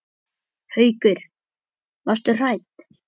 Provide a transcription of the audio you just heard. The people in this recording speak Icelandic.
Haukur: Varstu hrædd?